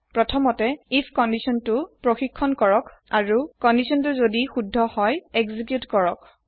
প্ৰথমতে if condition তু check হই আৰু এক্সিকিওত হই যদি কান্দিসন তু সুদ্ধ হয়